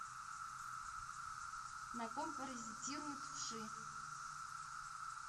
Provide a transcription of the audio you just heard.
на ком паразитируют вши